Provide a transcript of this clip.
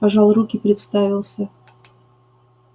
пожал руки представился